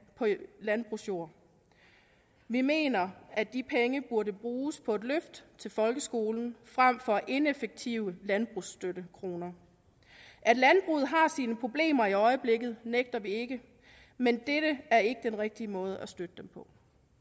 på landbrugsjord vi mener at de penge burde bruges på et løft til folkeskolen frem for at være ineffektive landbrugsstøttekroner at landbruget har sine problemer i øjeblikket nægter vi ikke men dette er ikke den rigtige måde at støtte det på